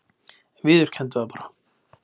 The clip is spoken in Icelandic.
Viðurkenndu það bara!